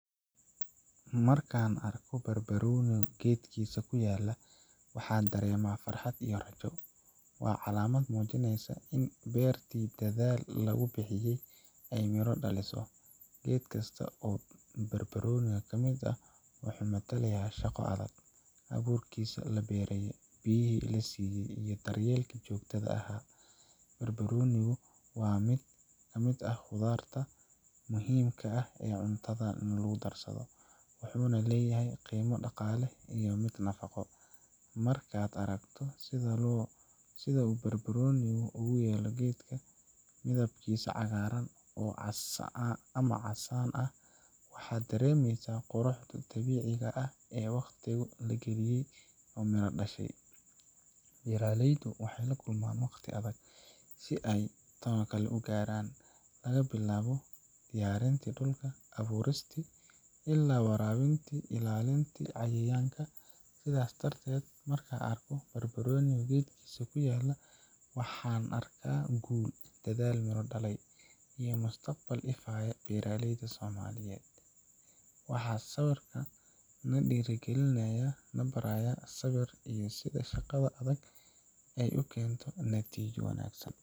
Markaan arko barbarooni geedkiisa ku yaal, waxaan dareemaa farxad iyo rajo. Waa calaamad muujinaysa in beertii dadaalka lagu bixiyay ay miro dhalayso. Geed kasta oo basbaas ah wuxuu matalayaa shaqo adag abuurkii la beeray, biyihii la siiyay, iyo daryeelkii joogtada ahaa. Basbaasku waa mid ka mid ah khudaarta muhiimka u ah cuntadeena, wuxuuna leeyahay qiimo dhaqaale iyo mid nafaqo. Markaad aragto sida uu basbaasku ugu yaal geedka, midabkiisa cagaaran ama casaan ah, waxaad dareemaysaa quruxda dabiiciga ah iyo in wakhtigii la geliyay uu midho dhalay. Beeraleydu waxay la kulmaan waqti adag si ay tan u gaaraan laga bilaabo diyaarin dhulka, abuurista, ilaa waraabinta iyo ilaalinta cayayaanka. Sidaas darteed, markaan arko basbaas geedkiisa ku yaal, waxaan arkaa guul, dadaal miro dhaliyay, iyo mustaqbal ifaya oo beeraleyda Soomaaliyeed u muuqda. Waa sawir na dhiirrigelinaya, na baraya sabir, iyo sida shaqada adag ay u keento natiijo wanaagsan.